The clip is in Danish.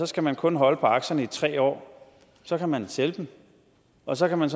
skal man kun holde på aktierne i tre år så kan man sælge dem og så kan man